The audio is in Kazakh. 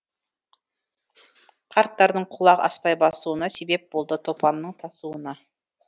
қарттардың құлақ аспай басуына себеп болды топанның тасуына